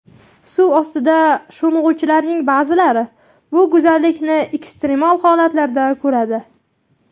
Suv ostiga sho‘ng‘uvchilarning ba’zilari bu go‘zallikni ekstremal holatlarda ko‘radi.